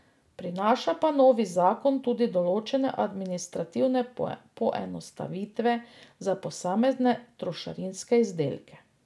Prinaša pa novi zakon tudi določene administrativne poenostavitve za posamezne trošarinske izdelke.